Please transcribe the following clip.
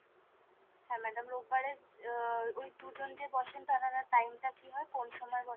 হ্যাঁ madam রোববারে আহ ওই দুজন যে বসেন তানারা time টা কি হয় ? কোন সময় বসেন ?